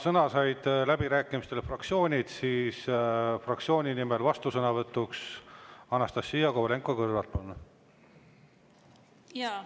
Kuna läbirääkimistel said sõna fraktsioonid, siis fraktsiooni nimel vastusõnavõtt, Anastassia Kovalenko-Kõlvart, palun!